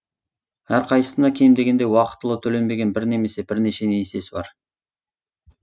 әрқайсысына кем дегенде уақытылы төленбеген бір немесе бірнеше несиесі бар